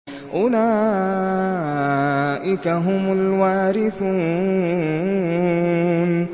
أُولَٰئِكَ هُمُ الْوَارِثُونَ